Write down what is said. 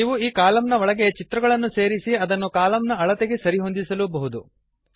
ನೀವು ಈ ಕಾಲಮ್ ನ ಒಳಗೆ ಚಿತ್ರಗಳನ್ನು ಸೇರಿಸಿ ಅದನ್ನು ಕಾಲಮ್ನ ಅಳತೆಗೆ ಸರಿಹೊಂದಿಸಬಹುದು